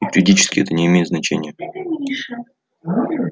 юридически это не имеет значения